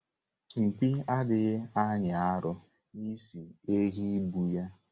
Mpi adịghị anyị arọ n'isi ehi bụ ya.